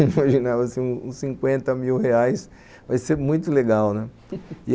imaginava assim uns cinquenta mil reais, vai ser muito legal, né?